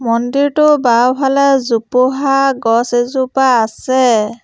মন্দিৰটোৰ বাওঁফালে জোপোহা গছ এজোপা আছে।